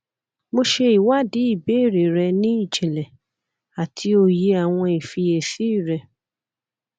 mo ṣe iwadi ibeere rẹ ni ijinle ati oye awọn ifiyesi rẹ